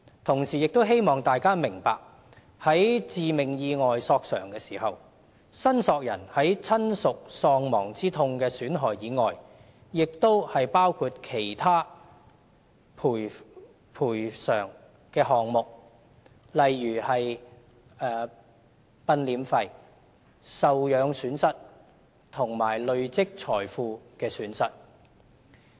同時，希望大家明白，在致命意外索償時，申索人在親屬喪亡之痛的損害外，亦包括其他賠償的項目，例如殯殮費、受養損失及累積財富的損失。